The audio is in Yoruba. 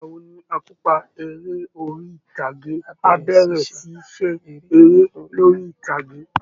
Ìgbà wo ni akópa eré orí ìtàgé á bẹ̀rẹ̀ ṣíṣe eré lórí ìtàgé?